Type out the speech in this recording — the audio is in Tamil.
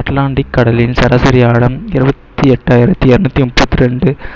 அட்லாண்டிக் கடலின் சராசரி ஆழம் இருபத்தி எட்டாயிரத்தி இருநூத்தி முப்பத்தி ரெண்டு